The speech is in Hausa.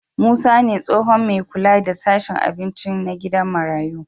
Musa ne tsohon me kula da sashen abinci na gidan marayu